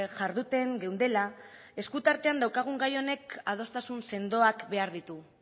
jarduten geundela eskuartean daukagun gai honek adostasun sendoak behar ditu